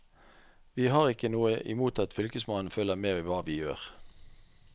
Vi har ikke noe imot at fylkesmannen følger med i hva vi gjør.